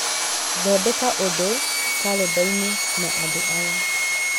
Thondeka ũndũ kalendani na andũ aya: